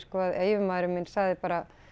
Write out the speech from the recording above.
að yfirmaður minn sagði bara